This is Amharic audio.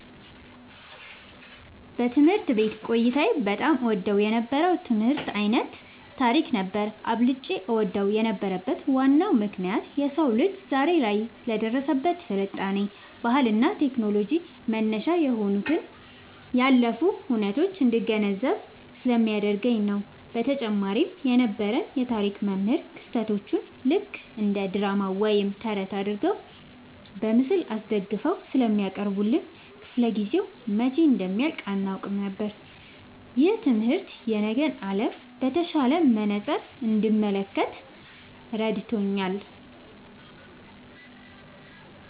ትምህርት ቤት ቆይታዬ በጣም እወደው የነበረው የትምህርት ዓይነት ታሪክ ነበር። አብልጬ እወደው የነበረበት ዋናው ምክንያት የሰው ልጅ ዛሬ ላይ ለደረሰበት ስልጣኔ፣ ባህልና ቴክኖሎጂ መነሻ የሆኑትን ያለፉ ሁነቶች እንድገነዘብ ስለሚያደርገኝ ነው። በተጨማሪም የነበረን የታሪክ መምህር ክስተቶቹን ልክ እንደ ድራማ ወይም ተረት አድርገው በምስል አስደግፈው ስለሚያቀርቡልን፣ ክፍለ-ጊዜው መቼ እንደሚያልቅ አናውቅም ነበር። ይህ ትምህርት የነገን ዓለም በተሻለ መነጽር እንድመለከት ረድቶኛል።"